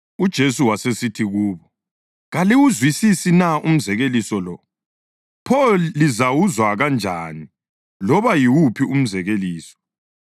UJesu wasesithi kubo, “Kaliwuzwisisi na umzekeliso lo? Pho lizawuzwa kanjani loba yiwuphi umzekeliso?